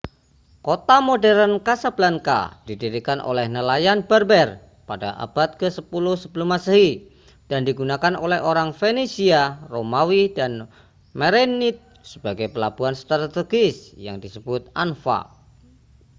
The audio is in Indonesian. kota modern casablanca didirikan oleh nelayan berber pada abad ke-10 sm dan digunakan oleh orang fenisia romawi dan merenid sebagai pelabuhan strategis yang disebut anfa